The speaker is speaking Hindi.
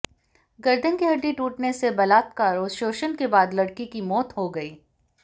गर्दन की हड्डी टूटने से बलात्कार और शोषण के बाद लड़की की मौत हो गई